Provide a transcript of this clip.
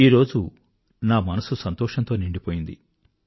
ఈరోజు నా మనసు సంతోషంతో నిండిపోయింది